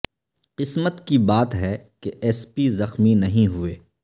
قسمت کی بات ہے کہ ایس پی زخمی نہیں ہوئے